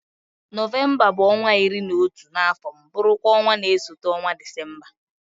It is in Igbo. Nọvemba bụ ọnwa iri na otu n'afọ m bụrụ kwa ọnwa na-esote ọnwa Disemba.